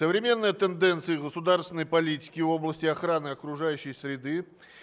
современные тенденции государственной политики в области охраны окружающей среды